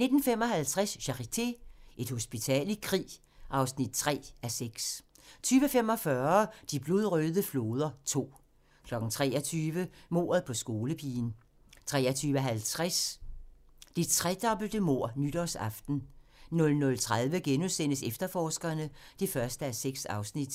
19:55: Charité – Et hospital i krig (3:6) 20:45: De blodrøde floder II 23:00: Mordet på skolepigen 23:50: Det tredobbelte mord nytårsaften 00:30: Efterforskerne (1:6)*